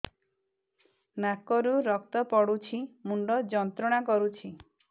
ନାକ ରୁ ରକ୍ତ ପଡ଼ୁଛି ମୁଣ୍ଡ ଯନ୍ତ୍ରଣା କରୁଛି